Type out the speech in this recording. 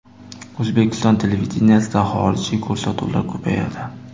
O‘zbekiston televideniyesida xorijiy ko‘rsatuvlar ko‘payadi.